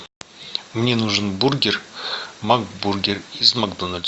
мне нужен бургер мак бургер из макдональдса